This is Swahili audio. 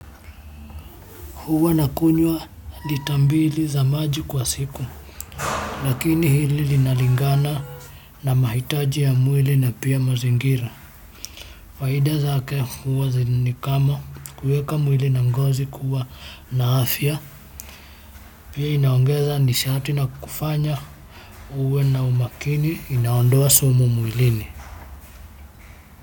Huwa nakunywa lita mbili za maji kwa siku lakini hili linalingana na mahitaji ya mwili na pia mazingira faida zake huwa ni kama kuweka mwili na ngozi kuwa na afya pia inaongeza nishaati na kufanya uwe na umaakini inaondoa sumu mwilini.